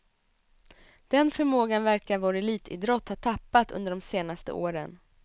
Den förmågan verkar vår elitidrott ha tappat under de senaste åren.